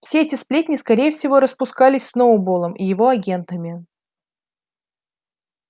все эти сплетни скорее всего распускались сноуболлом и его агентами